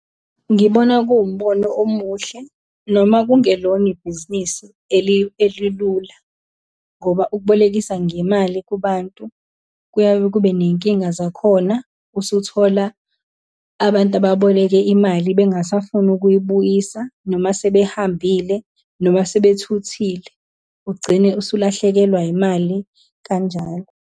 Ngibona kuwumbono omuhle, noma kungelona ibhizinisi elilula, ngoba ukubolekisa ngemali kubantu kuyaye kube ney'nkinga zakhona, usuthola abantu ababoleke imali bengasafuni ukuyibuyisa, noma sebehambile, noma sebethuthile. Ugcine usulahlekelwa imali kanjalo.